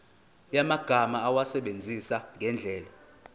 yamagama awasebenzise ngendlela